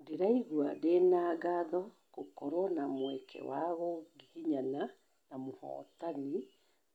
Ndĩraigua ndĩna ngatho gũkorwo na mweke wa kugĩgĩnyana na mũhotani